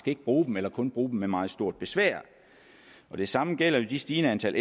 ikke bruge dem eller kun bruge dem med meget stort besvær det samme gælder jo det stigende antal